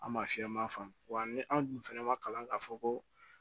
An ma fiyɛ an ma faamu wa ni an dun fana ma kalan k'a fɔ ko